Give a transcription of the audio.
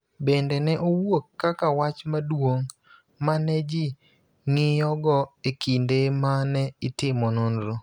bende ne owuok kaka wach maduong� ma ne ji ng�iyogo e kinde ma ne itimo nonro.